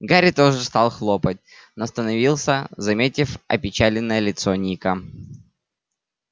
гарри тоже стал хлопать но становился заметив опечаленное лицо ника